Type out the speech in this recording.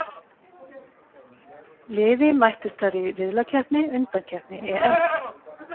Liði mættust þar í riðlakeppni undankeppni EM.